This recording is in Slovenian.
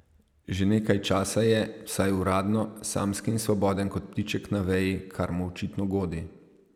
Že nekaj časa je, vsaj uradno, samski in svoboden kot ptiček na veji, kar mu očitno godi.